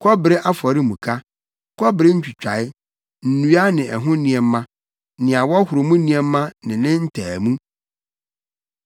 kɔbere Afɔremuka, kɔbere ntwitae, nnua no ne ɛho nneɛma, nea wɔhoro mu nneɛma ne ne ntaamu,